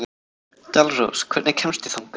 Dalrós, hvernig kemst ég þangað?